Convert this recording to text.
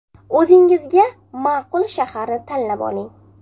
O‘zingizga ma’qul shaharni tanlab oling.